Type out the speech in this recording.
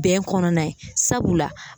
Bɛn kɔnɔna ye sabula